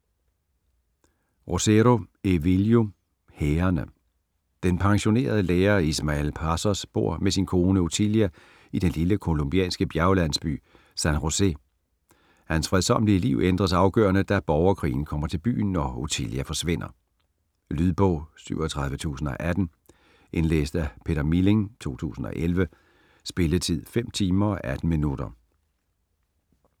Rosero, Evelio: Hærene Den pensionerede lærer Ismael Pasos bor med sin kone Otilia i den lille colombianske bjerglandsby San Josè. Hans fredsommelige liv ændres afgørende, da borgerkrigen kommer til byen og Otilia forsvinder. Lydbog 37018 Indlæst af Peter Milling, 2011. Spilletid: 5 timer, 18 minutter.